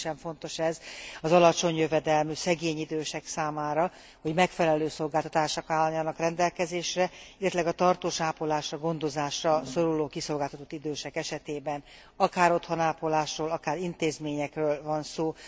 Különösen fontos ez az alacsony jövedelmű, szegény idősek számára, hogy megfelelő szolgáltatások álljanak rendelkezésre, illetőleg a tartós ápolásra, gondozásra szoruló kiszolgáltatott idősek esetében, akár otthon ápolásokról, akár intézményekről van szó.